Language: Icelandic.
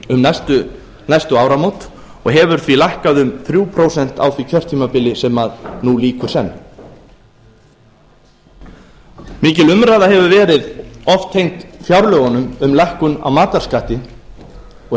um næstu áramót og hefur því lækkað um þrjú prósent á því kjörtímabili sem nú lýkur senn mikil umræða hefur oft verið tengd fjárlögunum um lækkun á matarskatti og